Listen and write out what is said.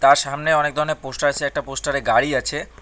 আর সামনে অনেক ধরনের পোস্টার আছে একটা পোস্টারে গাড়ি আছে।